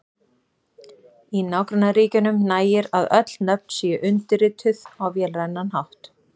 Í nágrannaríkjunum nægir að öll nöfn séu undirrituð á vélrænan hátt.